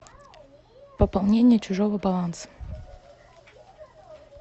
пополнение чужого баланса